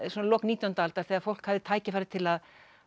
svona í lok nítjándu aldar þegar fólk hafði tækifæri til að